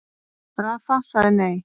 Rafa sagði nei.